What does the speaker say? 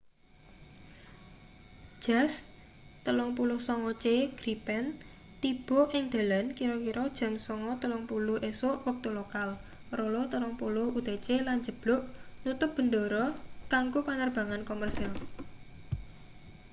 jas 39c gripen tiba ing dalan kira-kira jam 9.30 esuk wektu lokal 0230 utc lan njeblug nutup bendara kanggo panerbangan komersil